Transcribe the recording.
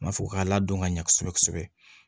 U ma fɔ k'a ladon ka ɲɛ kosɛbɛ kosɛbɛ